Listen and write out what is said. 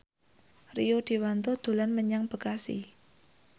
Rio Dewanto dolan menyang Bekasi